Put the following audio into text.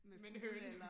med en høne